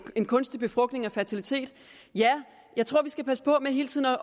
en kunstig befrugtning og fertilitet jeg tror vi skal passe på med hele tiden at